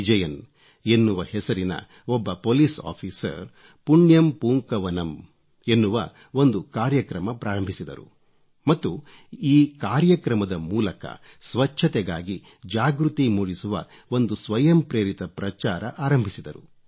ವಿಜಯನ್ ಎನ್ನುವ ಹೆಸರಿನ ಒಬ್ಬ ಪೋಲಿಸ್ ಆಫೀಸರ್ ಪುಣ್ಯಂ ಪೂಂಕವನಂ ಪುಣ್ಯಂ ಪೂಂಕವನಂ ಎನ್ನುವ ಒಂದು ಕಾರ್ಯಕ್ರಮ ಪ್ರಾರಂಭಿಸಿದರು ಮತ್ತು ಆ ಕಾರ್ಯಕ್ರಮದ ಮೂಲಕ ಸ್ವಚ್ಚತೆಗಾಗಿ ಜಾಗೃತಿ ಮೂಡಿಸುವ ಒಂದು ಸ್ವಯಂಪ್ರೇರಿತ ಪ್ರಚಾರ ಆರಂಭಿಸಿದರು